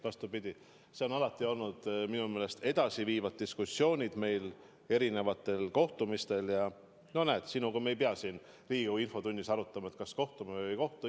Vastupidi, meil on alati on olnud minu meelest edasiviivad diskussioonid erinevatel kohtumistel ja näed, sinuga me ei pea siin Riigikogu infotunnis arutama, kas kohtume või ei kohtu.